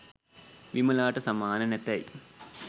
විමලාට සමාන නැතැයි